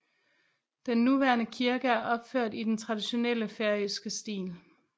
Den nuværende kirke er opført i den traditionelle færøske stil